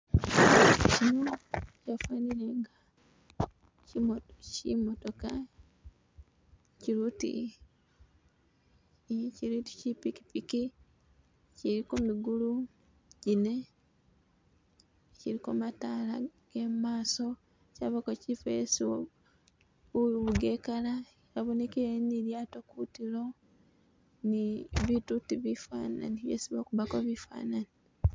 Hano hafanile inga chi motoka chili uti chili uti chi pikipiki chiliko migulu gine chiliko matala gemumaso chabako chifo hesi uvuga ekala abonekele ni lilyato kutilo ni buutu uti bifanani byesi bakubako bifanani.